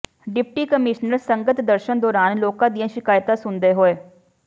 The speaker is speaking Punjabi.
ਡਿਪਟੀ ਕਮਿਸ਼ਨਰ ਸੰਗਤ ਦਰਸ਼ਨ ਦੌਰਾਨ ਲੋਕਾਂ ਦੀਆਂ ਸ਼ਿਕਾਇਤਾਂ ਸੁਣਦੇ ਹੋਏ